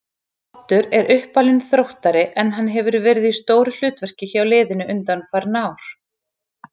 Oddur er uppalinn Þróttari en hann hefur verið í stóru hlutverki hjá liðinu undanfarin ár.